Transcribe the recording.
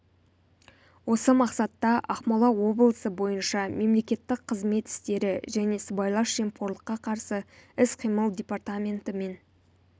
осы мақсатта ақмола облысы бойынша мемлекеттік қызмет істері және сыбайлас жемқорлыққа қарсы іс-қимыл департаменті мен